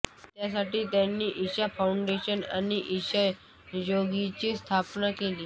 त्यासाठी त्यांनी इशा फाऊंडेशन आणि इशा योगाची स्थापणा केली